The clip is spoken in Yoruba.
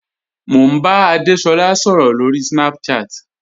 Mo n bá Adésolá sọ̀rọ̀ lórí Snapchat.